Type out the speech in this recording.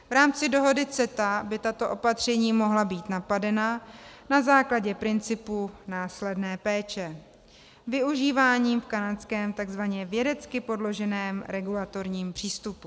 V rámci dohody CETA by tato opatření mohla být napadena na základě principu následné péče využívaného v kanadském tzv. vědecky podloženém regulatorním přístupu.